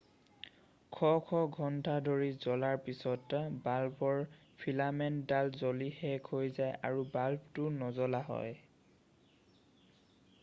শ শ ঘণ্টা ধৰি জ্বলাৰ পিছত বাল্বৰ ফিলামেণ্টডাল জ্বলি শেষ হৈ যায় আৰু বাল্বটো নজ্বলা হয়